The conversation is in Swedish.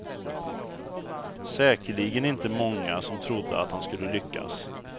Säkerligen inte många som trodde att han skulle lyckas.